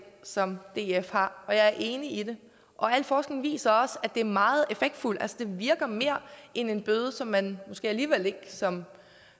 som df har og jeg er enig i det al forskning viser også at det er meget effektfuldt det virker mere end en bøde som man måske alligevel ikke som